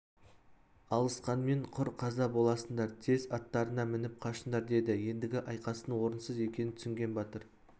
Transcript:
алысқанмен құр қаза боласыңдар тез аттарыңа мініп қашыңдар деді ендігі айқастың орынсыз екенін түсінген батыр